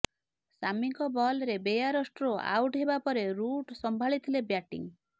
ସାମିଙ୍କ ବଲରେ Bairstow out ହେବା ପରେ ରୁଟ୍ ସମ୍ଭାଳିଥିଲେ ବ୍ୟାଟିଂ